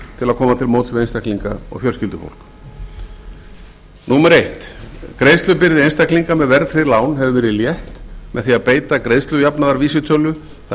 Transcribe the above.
til móts við einstaklinga og fjölskyldufólk fyrstu greiðslubyrði einstaklinga með verðtryggð lán hefur verið létt með því að beita greiðslujafnaðarvísitölu það er